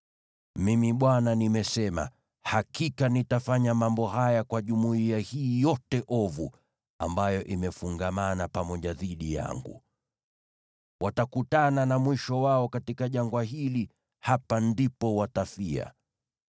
Mimi Bwana nimesema, na hakika nitafanya mambo haya kwa jumuiya hii yote ovu, ambayo imefungamana pamoja dhidi yangu. Watakutana na mwisho wao katika jangwa hili; hapa ndipo watafia.”